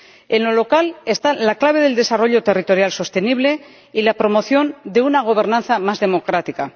En lo local está la clave del desarrollo territorial sostenible y la promoción de una gobernanza más democrática.